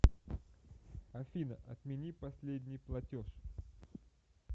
афина отмени последний платеж